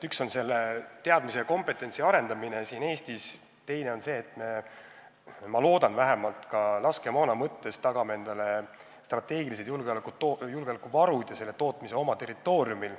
Üks asi on teadmiste ja kompetentsi arendamine Eestis, teine aga see, et me – ma loodan vähemalt – tagame endale laskemoona osas strateegilised julgeolekuvarud ja laskemoona tootmise oma territooriumil.